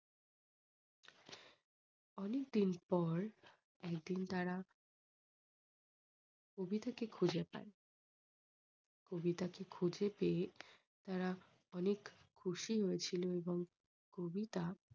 অনেকদিন পর একদিন তারা কবিতাকে খুঁজে পাই কবিতাকে খুঁজে পেয়ে তারা অনেক খুশি হয়েছিল এবং কবিতা